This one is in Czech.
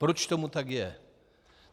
Proč tomu tak je?